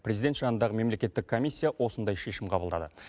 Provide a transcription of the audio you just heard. президент жанындағы мемлекеттік комиссия осындай шешім қабылдады